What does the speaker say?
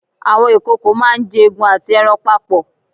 Àwọn ìkòkò máá ń jẹ egun àti ẹran papọ̀